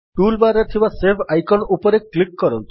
tool bar ରେ ଥିବା save icon ଉପରେ କ୍ଲିକ୍ କରନ୍ତୁ